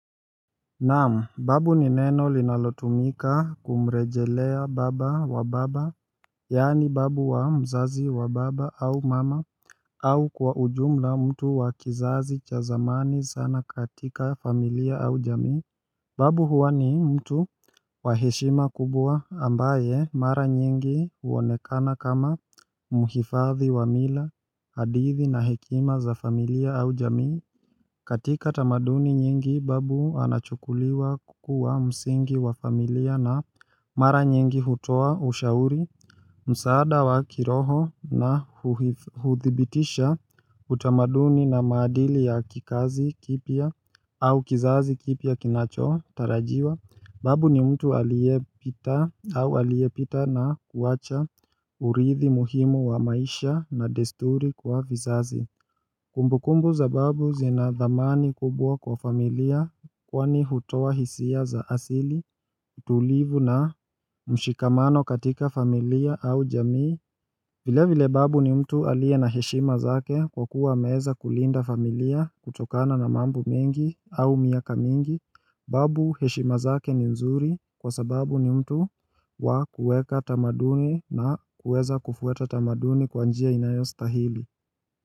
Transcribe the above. Naam, babu ni neno linalotumika kumrejelea baba wa baba, yani babu wa mzazi wa baba au mama, au kwa ujumla mtu wa kizazi cha zamani sana katika familia au jamii babu huwa ni mtu wa heshima kubwa ambaye mara nyingi huonekana kama muhifadhi wa mila, hadithi na hekima za familia au jamii katika tamaduni nyingi babu anachukuliwa kukuwa msingi wa familia na mara nyingi hutoa ushauri, msaada wa kiroho na huthibitisha utamaduni na maadili ya kikazi kipya au kizazi kipya kinacho tarajiwa babu ni mtu aliyepita na kuwacha urithi muhimu wa maisha na desturi kwa vizazi Kumbukumbu za babu zina dhamani kubwa kwa familia kwani hutoa hisia za asili, tulivu na mshikamano katika familia au jamii vile vile babu ni mtu aliye na heshima zake kwa kuwa ameweza kulinda familia kutokana na mambo mingi au miaka mingi babu heshima zake ni nzuri kwa sababu ni mtu wa kuweka tamaduni na kuweza kufuata tamaduni kwa njia inayo stahili.